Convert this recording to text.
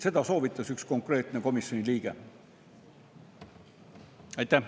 Seda soovitas üks konkreetne komisjoni liige.